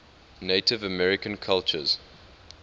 native american cultures